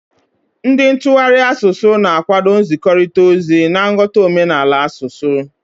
Ndị ntụgharị asụsụ na-akwado nzikọrịta ozi na nghọta omenala asụsụ.